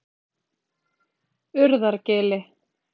Urðargili